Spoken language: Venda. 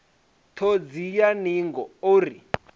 ṱhodzi ya ningo o ri